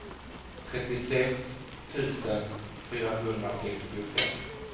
trettiosex tusen fyrahundrasextiofem